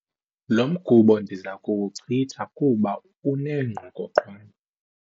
Lo mgubo ndiza kuwuchitha kuba unengqokoqwane.